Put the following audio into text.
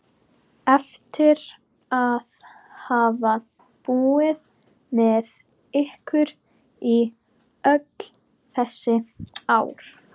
Eftir að hafa búið með ykkur í öll þessi ár?